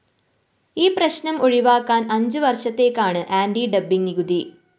ഈ പ്രശ്‌നം ഒഴിവാക്കാന്‍ അഞ്ചു വര്‍ഷത്തേക്കാണ് ആന്റി ഡംപിങ്‌ നികുതി